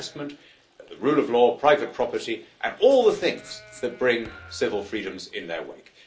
Investment and the rule of law, private property and all the things that bring civil freedoms in their wake.